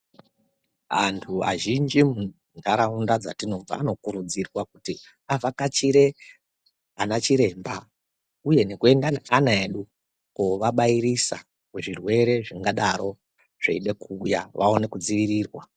Antu azhinji muntaraunda dzatinobva anokurudzirwa kuti vakachire ana chiremba uye nekuenda neana edu koabairisa kuzvirwere zvingadaro zveide kuuya vaone kudzirirwa.